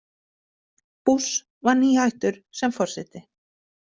Bush var nýhættur sem forseti.